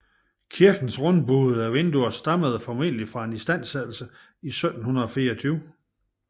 Kirkens rundbuede vinduer stammer formentlig fra en istandsættelse i 1724